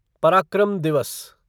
पराक्रम दिवस